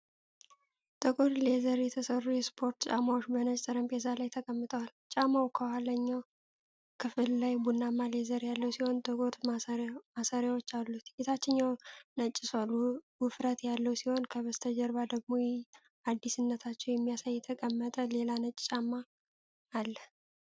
ጥቁር ሌዘር የተሰሩ የስፖርት ጫማዎች በነጭ ጠረጴዛ ላይ ተቀምጠዋል። ጫማው በኋለኛው ክፍል ላይ ቡናማ ሌዘር ያለው ሲሆን፣ ጥቁር ማሰሪያዎች አሉት። የታችኛው ነጭ ሶል ውፍረት ያለው ሲሆን፣ ከበስተጀርባው ደግሞ አዲስነታቸውን የሚያሳይ የተቀመጠ ሌላ ነጭ ጫማ አለ።